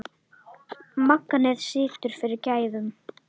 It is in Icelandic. Magnið situr fyrir gæðum.